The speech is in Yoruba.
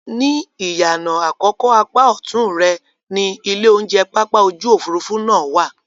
Ní ìyànà àkọ́kọ́ apá ọ̀tún rẹ ni ilé-oúnjẹ pápá ojú-òfurufú náà wà